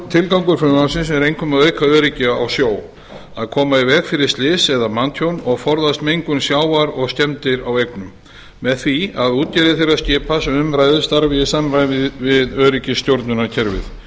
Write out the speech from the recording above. tilgangur frumvarpsins er einkum að auka öryggi á sjó að koma í veg fyrir slys eða manntjón og forðast mengun sjávar og skemmdir á eignum með því að útgerðir þeirra skipa sem um ræðir starfi í samræmi við öryggisstjórnunarkerfið